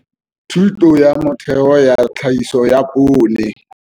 Thuto ya Motheo ya Tlhahiso ya Poone.